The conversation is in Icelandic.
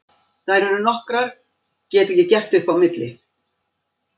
Þær eru nokkrar, get ekki gert upp á milli.